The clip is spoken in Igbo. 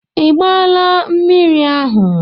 Ị gbaala mmiri ahụ?